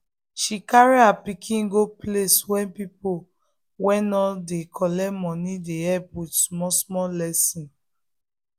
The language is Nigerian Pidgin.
she carry her pikin go place wey people wey no dey collect money dey help with small small lesson.